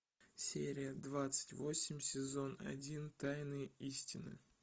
серия двадцать восемь сезон один тайные истины